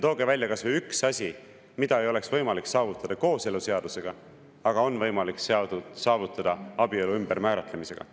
Tooge välja kas või üks asi, mida ei oleks võimalik saavutada kooseluseadusega, aga on võimalik saavutada abielu ümbermääratlemisega.